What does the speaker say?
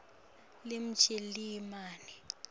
lemjalimane